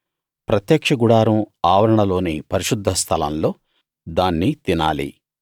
ప్రత్యక్ష గుడారం ఆవరణలోని పరిశుద్ధ స్థలం లో దాన్ని తినాలి